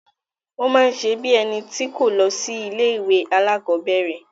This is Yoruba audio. Ó máa n ṣe bí í ẹni tí kò lọ sí ilé ìwé alákọ̀berẹ̀.